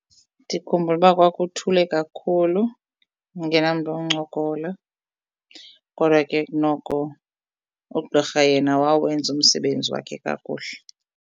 Ndikhumbula uba kwakuthule kakhulu ndingenamntu woncokola kodwa ke noko ugqirha yena wawenza umsebenzi wakhe kakuhle.